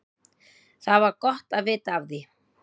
Það var gott að vita af því.